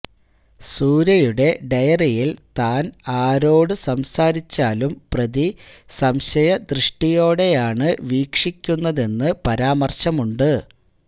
സൂര്യയുടെ ഡയറിയിൽ താൻ ആരോട് സംസാരിച്ചാലും പ്രതി സംശയ ദൃഷ്ടിയോടെയാണ് വീക്ഷിക്കുന്നതെന്ന് പരാമർശമുണ്ട്